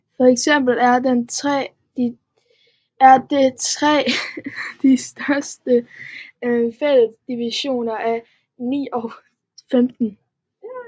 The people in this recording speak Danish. For eksempel er den 3 den største fælles divisor af 9 og 15